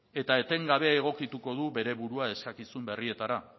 eta etengabe egokituko du bere burua eskakizun berrietara